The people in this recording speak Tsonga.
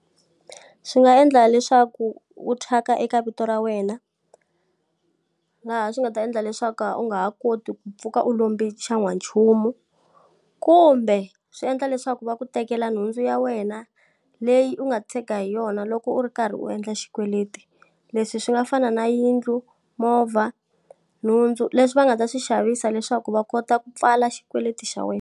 Swi nga endla leswaku u thyaka eka vito ra wena, laha swi nga ta endla leswaku u nga ha koti ku pfuka u lombe xan'wanchumu. Kumbe swi endla leswaku va ku tekela nhundzu ya wena leyi u nga tshega hi yona loko u ri karhi u endla xikweleti. Leswi swi nga fana na yindlu, movha, nhundzu, leswi va nga ta swi xavisa leswaku va kota ku pfala xikweleti xa wena.